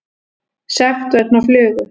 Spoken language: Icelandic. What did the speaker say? Sekt vegna flugu